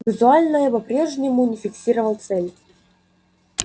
визуально я по-прежнему не фиксировал цель